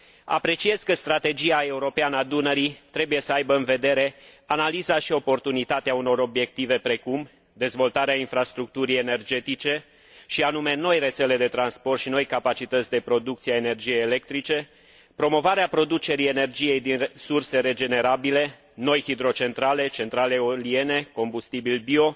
Apreciez că strategia europeană a Dunării trebuie să aibă în vedere analiza și oportunitatea unor obiective, precum dezvoltarea infrastructurii energetice și anume noi rețele de transport și noi capacități de producție a energiei electrice, promovarea producerii energiei din surse regenerabile, noi hidrocentrale, centrale eoliene, combustibili bio,